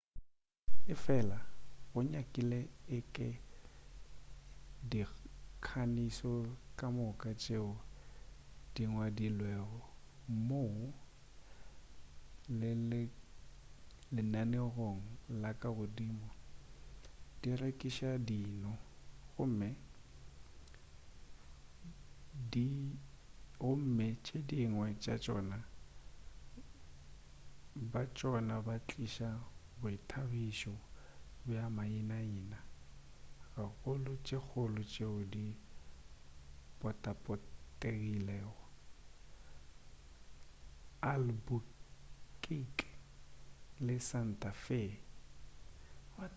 efela go nyakile eke dikhasino ka moka tšeo di ngwadilwego mo lenaneong la ka godimo di rekiša dino gomme tše dingwe tša tšona bja tšona bo tliša boithabišo bja maina-ina gagolo tše kgolo tšeo di potapotilego albuquerque le santa fe